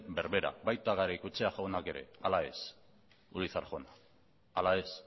berbera baita garaikoetxea jaunak ere ala ezurizar jauna ala ez